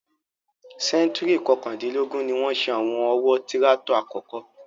Sẹ́ńtúùrì kọkàndínlógún ni wọ́n ṣe àwọn ọ̀wọ́ tíráátọ̀ àkọ́kọ́.